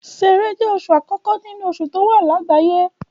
Ṣẹẹrẹ jẹ́ oṣù àkókò nínú oṣù tí ó wà lágbàáyé.